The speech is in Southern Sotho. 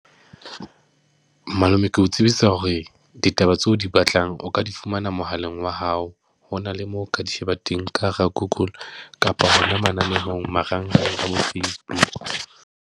Malome, ke o tsebisa hore ditaba tseo o di batlang, o ka di fumana mohaleng wa hao. Ho na le moo o ka di sheba teng ka hara Google, kapa hona mananehong marangrang a bo Facebook.